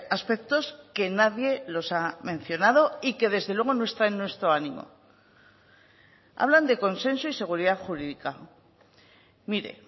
aspectos que nadie los ha mencionado y que desde luego no está en nuestro ánimo hablan de consenso y seguridad jurídica mire